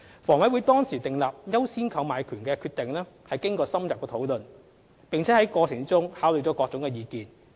房委會當時訂立"優先購買權"的決定經過深入討論，並在過程中考慮了各種意見。